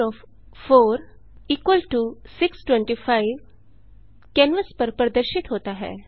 54625 canvas पर प्रदर्शित होता है